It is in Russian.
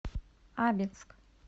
абинск